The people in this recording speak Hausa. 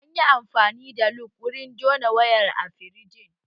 An yi amfani da lug wurin jona wayar a firijin